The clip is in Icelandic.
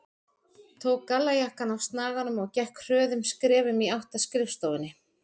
Tók gallajakkann af snaganum og gekk hröðum skrefum í átt að skrifstofunni.